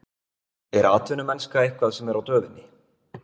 Er atvinnumennska eitthvað sem er á döfinni?